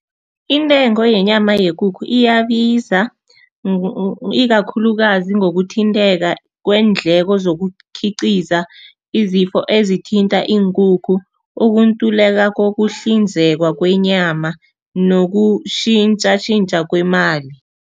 Intengo yenyama yekukhu iyabiza ikakhulukazi ngokuthinteka kweendleko zokukhiqiza, izifo ezithinta iinkukhu, ukuntuleka kokuhlinzekwa kwenyama nokushintshashintsha kwemali.